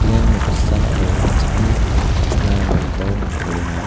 ia noksao cha·ani aro ka·sina ringaniko palenga.